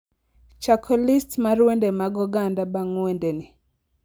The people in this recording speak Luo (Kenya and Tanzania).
chako list mar wende mag oganda bang' wende ni